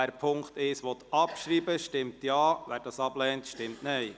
Wer Ziffer 1 abschreiben will, stimmt Ja, wer dies ablehnt, stimmt Nein.